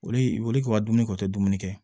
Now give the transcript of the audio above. Olu tun ka dumuni ko tɛ dumuni kɛ